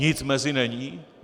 Nic mezi není?